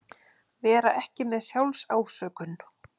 Vera ekki með SJÁLFSÁSÖKUN